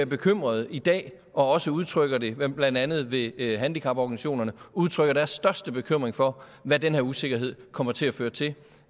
bekymrede i dag og også udtrykker det blandt andet ved handicaporganisationerne de udtrykker deres største bekymring for hvad den her usikkerhed kommer til at føre til